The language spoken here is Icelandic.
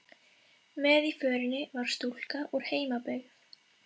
Með í förinni var stúlka úr heimabyggð